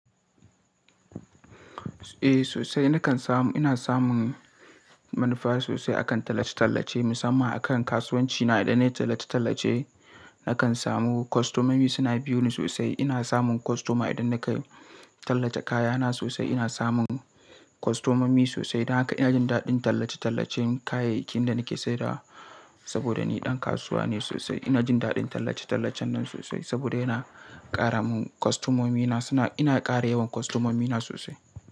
Eh sosai. Nakan samu, ina samun manufa sosai akan tallace-tallace musamman akan kasuwanci na. Idan na yi tallace-tallace nakan samu kwastomomi suna biyo ni sosai. Ina samun kwastoma idan na ka tallace kayana sosai. Ina samun kwastomomi sosai idan haka ina jin daɗin tallace-tallacen kayayyakin da nake sadarwa. Saboda ni ɗan kasuwa ne sosai ina jin daɗin tallace-tallacen nan sosai saboda yana ƙara mun kwastomomina suna. Ina ƙara yawan kwastomomina sosai.